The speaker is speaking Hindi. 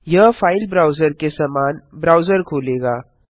यह फाइल ब्राउजर के समान ब्राउजर खोलेगा